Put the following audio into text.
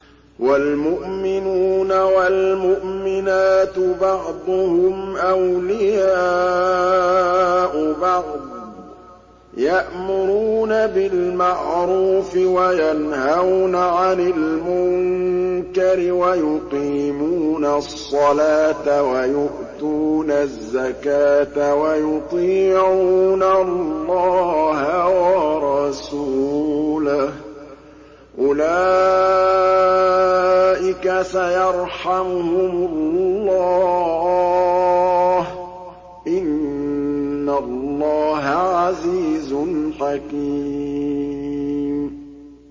وَالْمُؤْمِنُونَ وَالْمُؤْمِنَاتُ بَعْضُهُمْ أَوْلِيَاءُ بَعْضٍ ۚ يَأْمُرُونَ بِالْمَعْرُوفِ وَيَنْهَوْنَ عَنِ الْمُنكَرِ وَيُقِيمُونَ الصَّلَاةَ وَيُؤْتُونَ الزَّكَاةَ وَيُطِيعُونَ اللَّهَ وَرَسُولَهُ ۚ أُولَٰئِكَ سَيَرْحَمُهُمُ اللَّهُ ۗ إِنَّ اللَّهَ عَزِيزٌ حَكِيمٌ